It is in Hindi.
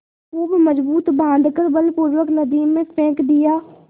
खूब मजबूत बॉँध कर बलपूर्वक नदी में फेंक दिया